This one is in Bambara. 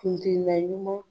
Kun ryoyma .